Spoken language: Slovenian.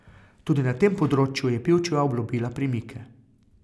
Tudi na tem področju je Pivčeva obljubila premike.